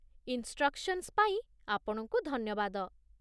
instructions ପାଇଁ ଆପଣଙ୍କୁ ଧନ୍ୟବାଦ